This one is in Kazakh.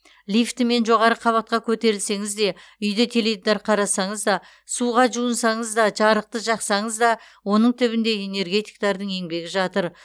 лифтімен жоғары қабатқа көтерілсеңіз де үйде теледидар қарасаңыз да суға жуынсаңыз да жарықты жақсаңыз да оның түбінде энергетиктердің еңбегі жатыр